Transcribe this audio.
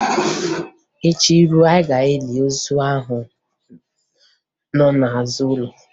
Echi ruo, Ị ga-eli ozu ahụ nọ n'azụ ụlọ